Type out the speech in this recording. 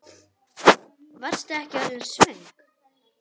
Varstu ekki orðin svöng?